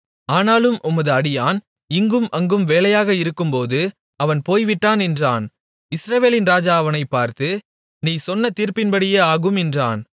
ஆனாலும் உமது அடியான் இங்கும் அங்கும் வேலையாக இருக்கும்போது அவன் போய்விட்டான் என்றான் இஸ்ரவேலின் ராஜா அவனைப் பார்த்து நீ சொன்ன தீர்ப்பின்படியே ஆகும் என்றான்